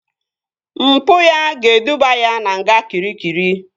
Mpụ ya ga-eduba ya na nga Kịrikịri